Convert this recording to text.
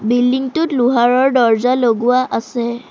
বিল্ডিংটোত লোহাৰৰ দৰ্জা লগোৱা আছে।